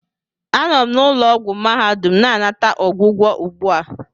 Anọ m na ụlọ ọgwụ mahadum na-anata ọgwụgwọ ugbu a